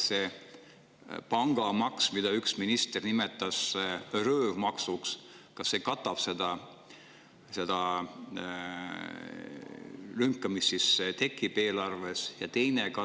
Kas see pangamaks, mida üks minister nimetas röövmaksuks, katab selle lünga, mis tekib eelarves?